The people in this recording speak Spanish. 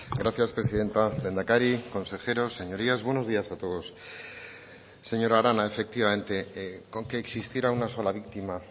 gracias presidenta lehendakari consejeros señorías buenos días a todos señora arana efectivamente con que existiera una sola víctima